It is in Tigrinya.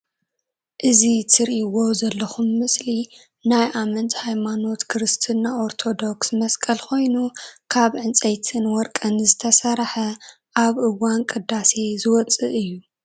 እዚ ትርእይዎ ዘለኩም ምስሊ ናይ ኣመንቲ ሃይማኖት ክርስትና ኦርቶዶክስ መስቀል ኮይኑ ካብ ዕንፀይትን ወርቅን ዝተሰረሓ ኣብ እዋን ቅዳሴ ዝወፅእ እዩ።